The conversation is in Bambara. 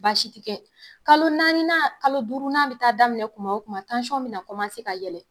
Baasi ti kɛ. Kalo naaninan kalo duurunan bɛ taa daminɛ tuma o tuma bɛna ka yɛlɛ.